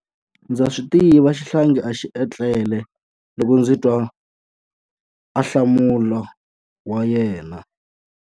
Ndza swi tiva xihlangi a xi etlele loko ndzi twa ahlamulo wa yena.